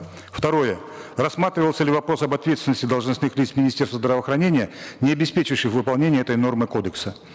второе рассматривался ли вопрос об ответственности должностных лиц министерства здравоохранения не обеспечивших выполнение этой нормы кодекса